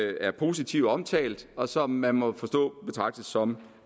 er positivt omtalt og som man må forstå betragtes som